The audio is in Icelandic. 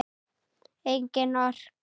Engin orka.